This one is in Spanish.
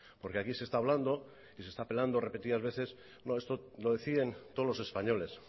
porque aquí se está hablando y se está apelando repetidas veces no esto lo deciden todos los españoles